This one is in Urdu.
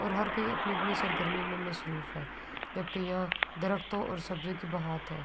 اور ہر کوئی اپنی-اپنی سر گرمی مے مشروف ہے۔ جبکی یہاں درختو اور سردیو کی برات ہے۔